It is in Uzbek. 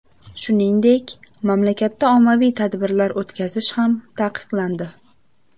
Shuningdek, mamlakatda ommaviy tadbirlar o‘tkazish ham taqiqlandi .